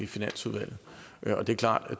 finansudvalg